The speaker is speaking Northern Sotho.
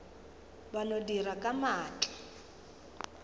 ba no dira ka maatla